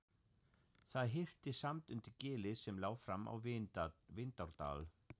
Það hillti samt undir gilið sem lá fram á Vindárdal.